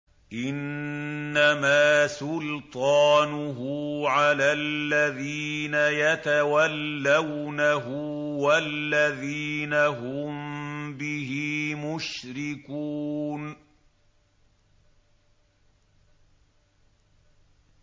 إِنَّمَا سُلْطَانُهُ عَلَى الَّذِينَ يَتَوَلَّوْنَهُ وَالَّذِينَ هُم بِهِ مُشْرِكُونَ